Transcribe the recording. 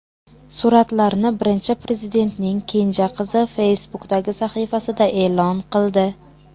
Suratlarni Birinchi Prezidentning kenja qizi Facebook’dagi sahifasida e’lon qildi.